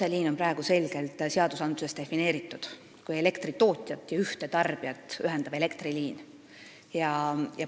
Otseliin on praegu selgelt seaduses defineeritud, see on elektritootjat ja ühte tarbijat ühendav elektriliin.